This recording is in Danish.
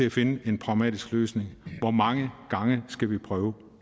at finde en pragmatisk løsning hvor mange gange skal vi prøve